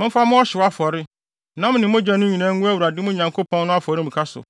Momfa mo ɔhyew afɔre, nam ne mogya no nyinaa, ngu Awurade, mo Nyankopɔn no, afɔremuka so.